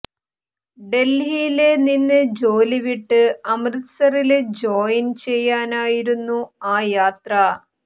ഡല്ഹിയില് നിന്ന് ജോലി വിട്ട് അമൃത്സറില് ജോയിന് ചെയ്യാനായിരുന്നു ആ യാത്ര